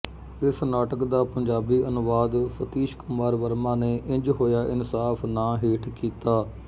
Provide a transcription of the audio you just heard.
ਇਸ ਨਾਟਕ ਦਾ ਪੰਜਾਬੀ ਅਨੁਵਾਦ ਸਤੀਸ਼ ਕੁਮਾਰ ਵਰਮਾ ਨੇ ਇੰਜ ਹੋਇਆ ਇਨਸਾਫ਼ ਨਾਂ ਹੇਠ ਕੀਤਾ